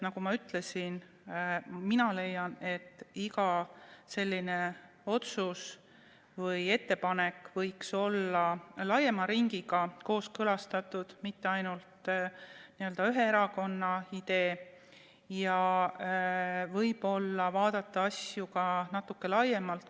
Nagu ma ütlesin, mina leian, et iga selline otsus või ettepanek võiks olla laiema ringiga kooskõlastatud, mitte ainult n-ö ühe erakonna idee, ja võib-olla võiksime vaadata asju ka natuke laiemalt.